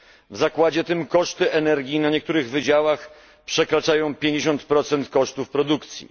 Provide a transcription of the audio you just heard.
W zakładzie tym koszty energii na niektórych wydziałach przekraczają 50 kosztów produkcji.